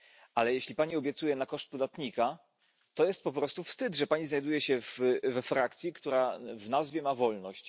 Ale jeśli Pani obiecuje na koszt podatnika, to jest po prostu wstyd, że Pani znajduje się we frakcji, która w nazwie ma wolność.